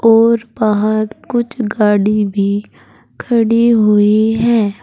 और बाहर कुछ गाड़ी भी खड़ी हुई है।